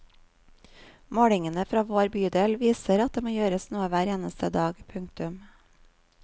Målingene fra vår bydel viser at det må gjøres noe hver eneste dag. punktum